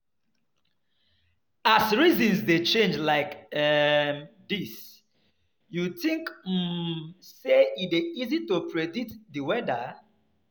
As seasons dey change like um dis, you think um say e dey easy to predict di weather?